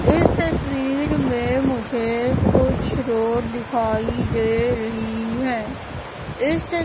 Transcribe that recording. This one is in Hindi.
इस तस्वीर में मुझे कुछ रोड दिखाई दे रही है इस त--